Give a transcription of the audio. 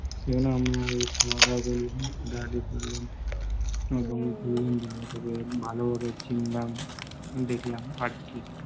তারপর আমরা খাওয়া দাওয়া করলাম, হাঁটাহাটি করলাম ভালোভাবে চিনলাম দেখলাম আরকি,